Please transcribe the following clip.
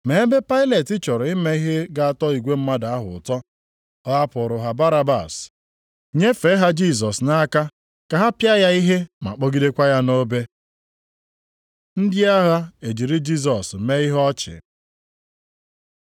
Ma ebe Pailet chọrọ ime ihe ga-atọ igwe mmadụ ahụ ụtọ, ọ hapụụrụ ha Barabas, nyefee ha Jisọs nʼaka ka ha pịa ya ihe ma kpọgidekwa ya nʼobe. Ndị agha ejiri Jisọs mee ihe ọchị